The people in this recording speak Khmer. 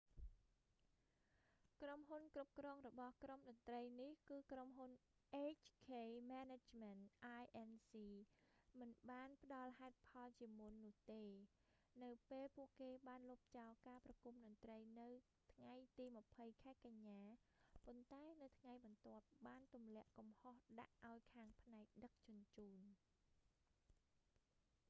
ក្រុមហ៊ុនគ្រប់គ្រងរបស់ក្រុមតន្រ្តីនេះ គឺក្រុមហ៊ុន hk management inc មិនបានផ្តល់ហេតុផលជាមុននោះទេ នៅពេលពួកគេបានលុបចោលការប្រគុំតន្ត្រីនៅថ្ងៃទី 20 ខែកញ្ញា ប៉ុន្តែនៅថ្ងៃបន្ទាប់បានទម្លាក់កំហុសដាក់ឱ្យខាងផ្នែកដឹកជញ្ជូន